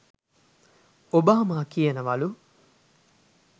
Obama කියනවලු